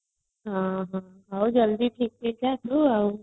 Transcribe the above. ହଁ ଜଲ୍ଦି ଥିକ ହେଇଜା ତୁ ଆଉ